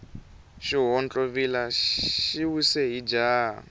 xihontlovila xi wise hi jaha